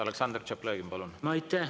Aleksandr Tšaplõgin, palun!